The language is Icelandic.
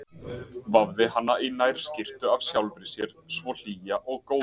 Vafði hana í nærskyrtu af sjálfri sér svo hlýja og góða.